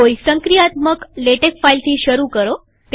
કોઈ સંક્રિયાત્મકવર્કિંગ લેટેક ફાઈલથી શરુ કરો